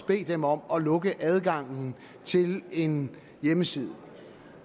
bede dem om at lukke adgangen til en hjemmeside